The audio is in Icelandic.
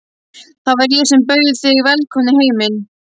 Það var ég sem bauð þig velkomna í heiminn.